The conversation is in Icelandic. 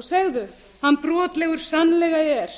og segðu hann brotlegur sannlega er